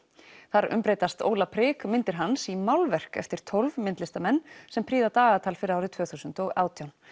þar umbreytast Óla prik myndir hans í málverk eftir tólf myndlistamenn sem prýða dagatal fyrir árið tvö þúsund og átján